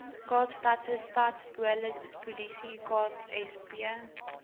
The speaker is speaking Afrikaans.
kaapstadse stadspolisie ksp